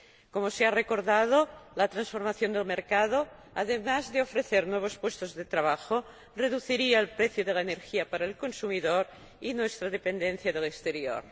Como se ha recordado, la transformación del mercado, además de ofrecer nuevos puestos de trabajo, reduciría el precio de la energía para el consumidor y nuestra dependencia del exterior.